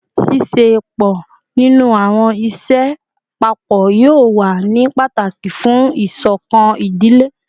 Ṣiṣepọ ninu awọn iṣẹ papọ yoo wa ni pataki fun isokan idile